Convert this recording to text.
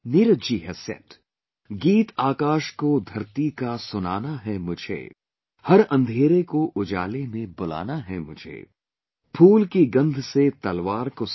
Neeraj ji has said